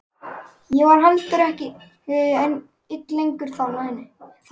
Ég var heldur ekki ein lengur þarna í